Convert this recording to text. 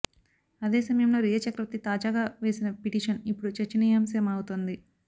అదే సమయంలో రియా చక్రవర్తి తాజాగా వేసిన పిటీషన్ ఇప్పుడు చర్చనీయాంశమవుతోంది